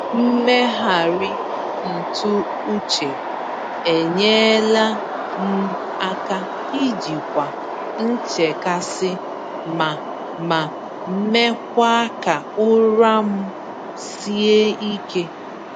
Mmegharị ntụ uche enyela m aka ijikwa nchekasị ma ma mekwa ka ụra m sie ike.